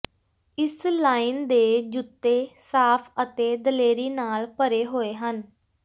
ਇਸ ਲਾਈਨ ਦੇ ਜੁੱਤੇ ਸਾਫ਼ ਅਤੇ ਦਲੇਰੀ ਨਾਲ ਭਰੇ ਹੋਏ ਹਨ